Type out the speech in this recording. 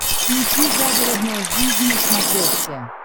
включи загородная жизнь на смотрешке